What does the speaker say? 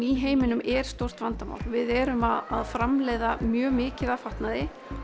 í heiminum er stórt vandamál við erum að framleiða mjög mikið af fatnaði